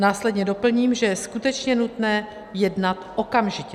Následně doplním, že je skutečně nutné jednat okamžitě.